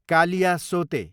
कालियासोते